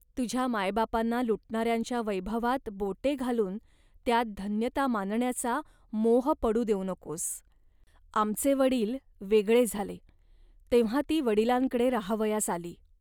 तुझ्या मायबापांना लुटणाऱ्यांच्या वैभवात बोटे घालून त्यात धन्यता मानण्याचा मोह पडू देऊ नकोस. आमचे वडील वेगळे झाले, तेव्हा ती वडिलांकडे राहावयास आली